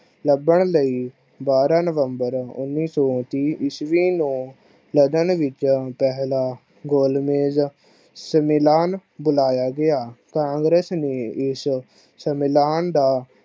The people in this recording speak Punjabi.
ਲੱਭਣ ਲਈ ਬਾਰਹ november ਉਨੀ ਸੋ ਤੀਹ ਈਸਵੀ ਨੂੰ ਲਗਨ ਵਿੱਚ ਗੋਲ਼ ਮੇਜ ਸੁਮਿਲਾਨ ਬੁਲਾਇਆ ਗਿਆ। ਕਾਂਗਰਸ ਨੇ ਇਸ ਸਮਿਲਾਨ ਦਾ